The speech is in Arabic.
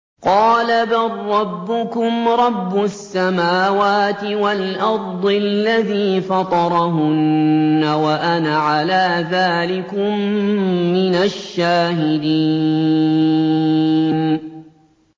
قَالَ بَل رَّبُّكُمْ رَبُّ السَّمَاوَاتِ وَالْأَرْضِ الَّذِي فَطَرَهُنَّ وَأَنَا عَلَىٰ ذَٰلِكُم مِّنَ الشَّاهِدِينَ